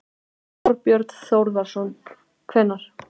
Þorbjörn Þórðarson: Hvenær?